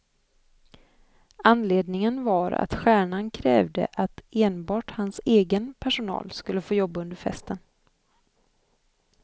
Anledningen var att stjärnan krävde att enbart hans egen personal skulle få jobba under festen.